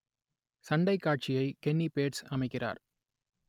சண்டைக் காட்சியை Kenny Bates அமைக்கிறார்